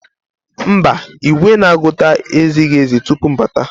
Mba, igwe na-agụta ezighi ezi tupu m abata.